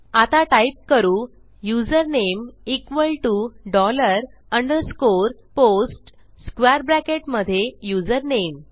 आता टाईप करू user name equal T O dollar underscore post square bracket मधे username